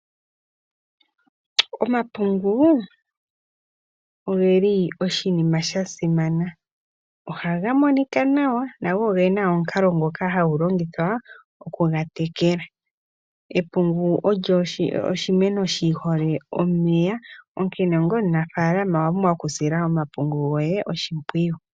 Omapungu ogeli oshinima sha simana. Ohaga monika nawa na ogena omukalo ngoka hagu longithwa okugatekela. Epungu oshimeno shi hole omeya, onkene onga omunafalama owa pumbwa okusila omapungu goye oshimpwiyu.